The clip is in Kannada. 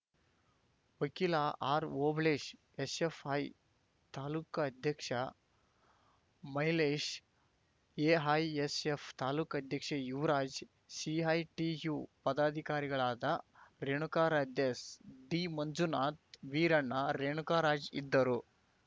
ವಕೀಲ ಆರ್‌ಓಬಳೇಶ್‌ ಎಸ್‌ಎಫ್‌ಐ ತಾಲುಕ್ ಅಧ್ಯಕ್ಷ ಮೈಲೇಶ್‌ ಎಐಎಸ್‌ಎಫ್‌ ತಾಲುಕ್ ಅಧ್ಯಕ್ಷ ಯುವರಾಜ್‌ ಸಿಐಟಿಯು ಪದಾಧಿಕಾರಿಗಳಾದ ರೇಣುಕಾರಾಧ್ಯ ಡಿಮಂಜುನಾಥ್‌ ಸ್ ವೀರಣ್ಣ ರೇಣುಕರಾಜ್‌ ಇದ್ದರು